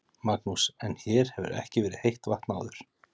Magnús: En hér hefur ekki verið heitt vatn áður?